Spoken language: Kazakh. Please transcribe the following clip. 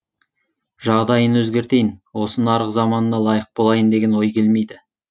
жағдайын өзгертейін осы нарық заманына лайық болайын деген ой келмейді